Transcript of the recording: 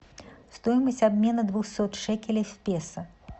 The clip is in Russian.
стоимость обмена двухсот шекелей в песо